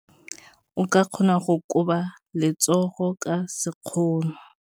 O ka kgona go koba letsogo ka sekgono.